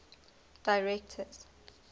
directors